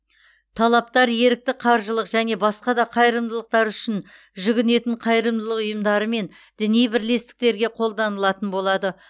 талаптар ерікті қаржылық және басқа да қайырымдылықтар үшін жүгінетін қайырымдылық ұйымдары мен діни бірлестіктерге қолданылатын болады